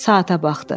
Saata baxdı.